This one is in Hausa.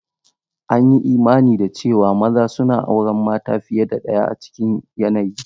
An yi imani da cewa maza suna auren mata fiye da ɗaya a cikin yanayi.